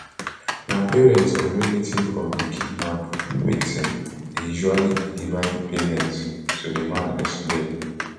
na parent or relative of di kidnap victim dey usually deliver di payment sulaiman explain